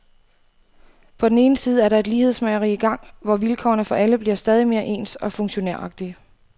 På den ene side er der et lighedsmageri i gang, hvor vilkårene for alle bliver stadig mere ens og funktionæragtige.